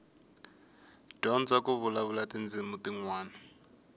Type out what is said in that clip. dyondza ku vulavula tindzimi tinwana